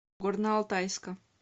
горно алтайска